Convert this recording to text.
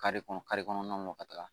Kare kɔnɔ kare kɔnɔnaw mɔ ka taga